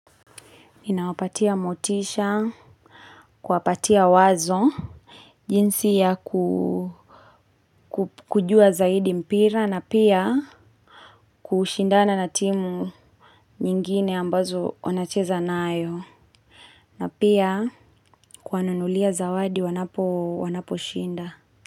Inawapatia motisha, kuwapatia wazo, jinsi ya kujua zaidi mpira na pia kushindana na timu nyingine ambazo wanacheza nao. Na pia kuwanunulia zawadi wanaposhinda.